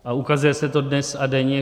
A ukazuje se to dnes a denně.